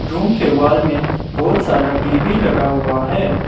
Room के wall मे बहुत सारा टी_वी लगा हुआ है।